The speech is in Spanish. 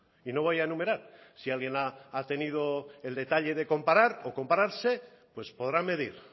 y no voy a enumerar si alguien ha tenido el detalle de comparar o compararse pues podrán medir